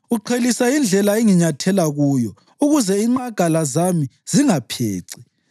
Uqhelisa indlela enginyathela kuyo, ukuze inqagala zami zingapheci.